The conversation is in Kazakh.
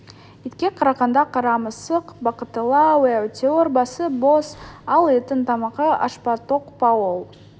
итке қарағанда қара мысық бақыттылау әйтеуір басы бос ал иттің тамағы аш па тоқ па ол